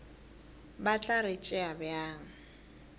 ba tla re tšea bjang